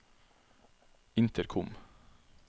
intercom